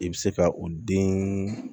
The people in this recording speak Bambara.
I bɛ se ka o den